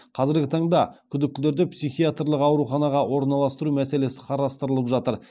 қазіргі таңда күдіктілерді психиатрлық ауруханаға орналастыру мәселесі қарастырылып жатыр